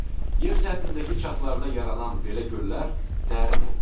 Yer səthindəki çatdada yaranan belə göllər dərin olur.